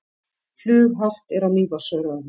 Flughált er á Mývatnsöræfum